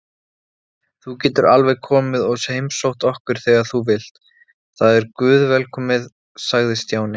Þú getur alveg komið og heimsótt okkur þegar þú vilt, það er guðvelkomið sagði Stjáni.